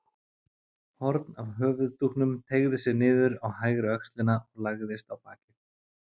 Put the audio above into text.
Horn af höfuðdúknum teygði sig niður á hægri öxlina og lagðist á bakið.